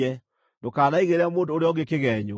“Ndũkanaigĩrĩre mũndũ ũrĩa ũngĩ kĩgeenyo.